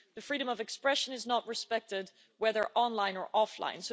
Freedom of expression is not respected, whether online or offline.